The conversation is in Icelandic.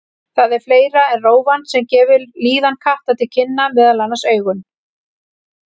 Það er fleira en rófan sem gefur líðan katta til kynna, meðal annars augun.